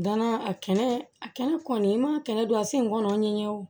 Danna a kɛnɛ a kɛnɛ kɔni i ma kɛnɛ don a sen kɔrɔ n ye wo